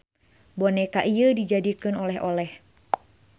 Boneka ieu dijadikeun oleh-oleh.